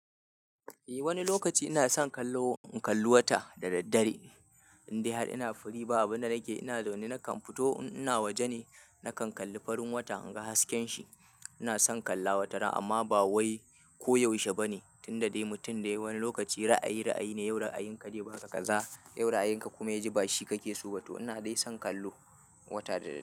Eh wani lokaci ina son kallo, in kalli wata da daddare, in dai har ina firi ba abunda nake ina da wani nakan fito in ina waje ne, nakan kalli farin wata in ga hasken shi. Ina son kalla wata ran amma ba wai ko yaushe bane, tunda dai mutum dai wani lokaci ra'ayi ra'ayi ne, yau ra'ayin ka zai baka kaza, yau ra'ayin ka kuma ya ji bashi kake so ba to. Ina dai son kallo wata da daddare.